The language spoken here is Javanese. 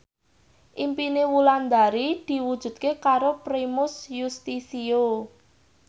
impine Wulandari diwujudke karo Primus Yustisio